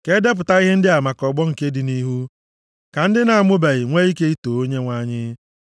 Ka e depụta ihe ndị a maka ọgbọ nke dị nʼihu, ka ndị a na-amụbeghị nwee ike too Onyenwe anyị: